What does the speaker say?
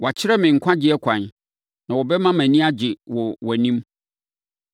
Woakyerɛ me nkwagyeɛ ɛkwan; na wobɛma mʼani agye wɔ wʼanim.